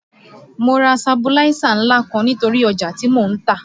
Mo ra sabuláísà ńlá kan nítorí ọjà tí mò ń tà